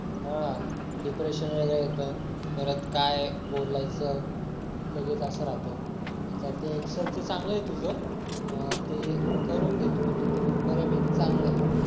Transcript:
हा डिप्रेशन वगैरे येत परत काय बोलायचं लगेच असं राहतं आता ते एक्सेल चा चांगल आहे तुझं ते करून घे तू म्हणजे तू बऱ्यापैकी चांगले आहे